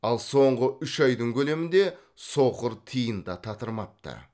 ал соңғы үш айдың көлемінде соқыр тиын да татырмапты